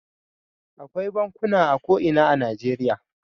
Akwai bankuna a ko ina a Najeriya.